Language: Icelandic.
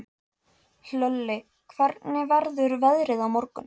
Hlölli, hvernig verður veðrið á morgun?